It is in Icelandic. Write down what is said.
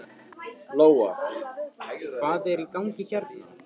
Lóa: Hvað er í gangi hérna?